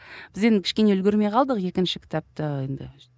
біз енді кішкене үлгермей қалдық екінші кітапты енді